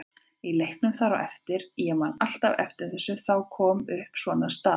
Í leiknum þar á eftir, ég man alltaf eftir þessu, þá kom upp svona staða.